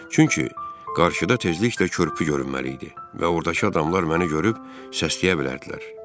Çünki qarşıda tezliklə körpü görünməli idi və ordakı adamlar məni görüb səsləyə bilərdilər.